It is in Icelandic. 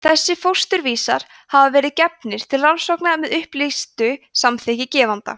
þessir fósturvísar hafa verið gefnir til rannsókna með upplýstu samþykki gefenda